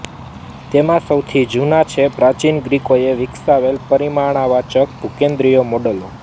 તેમાં સૌથી જૂનાં છે પ્રાચીન ગ્રીકોએ વિકસાવેલાં પરિમાણવાચક ભૂકેન્દ્રીય મૉડલો